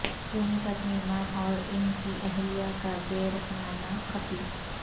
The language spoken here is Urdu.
سونی پت میں امام او ران کی اہلیہ کا بے رحمانہ قتل